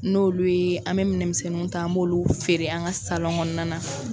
N'olu ye an mɛ minɛnmisɛnninw ta an m'olu feere an ka kɔnɔna na.